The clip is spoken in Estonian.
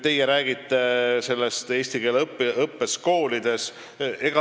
Te räägite eesti keele õppest koolides.